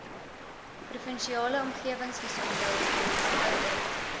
provinsiale omgewingsgesondheidsdiens oudit